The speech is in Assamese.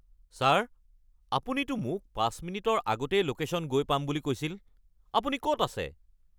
ছাৰ, আপুনিতো মোক ৫ মিনিটৰ আগতেই ল'কেশ্যন গৈ পাম বুলি কৈছিল। আপুনি ক'ত আছে?